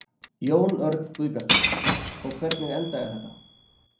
Jón Örn Guðbjartsson: Og hvernig endaði þetta?